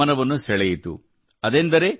ಇದು ನನ್ನ ಗಮನವನ್ನು ಸೆಳೆಯಿತು